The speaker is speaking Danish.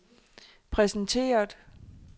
præsenteret